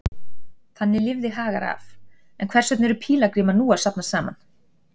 Þannig lifði Hagar af, en hvers vegna eru pílagrímarnir nú að safnast saman?